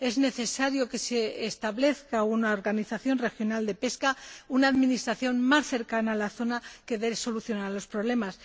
y es necesario establecer una organización regional de pesca, una administración más cercana a la zona y que solucione los problemas.